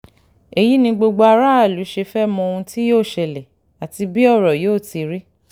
èyí ni gbogbo aráàlú ṣe fẹ́ẹ́ mọ ohun tí yóò ṣẹlẹ̀ àti bí ọ̀rọ̀ yóò ti rí